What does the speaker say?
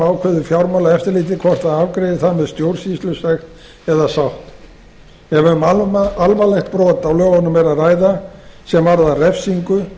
ákveður fjármálaeftirlitið hvort það afgreiðir það með stjórnsýslusekt eða sátt ef um alvarlegt brot á lögunum er að ræða sem varðar refsingu